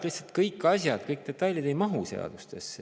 Lihtsalt kõik asjad, kõik detailid ei mahu seadustesse.